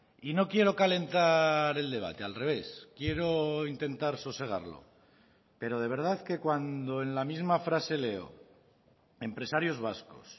y no quiero calentar el debate al revés quiero intentar sosegarlo pero de verdad que cuando en la misma frase leo empresarios vascos